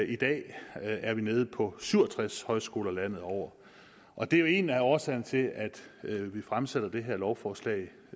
i dag er vi nede på syv og tres højskoler landet over og det er jo en af årsagerne til at vi fremsætter det her lovforslag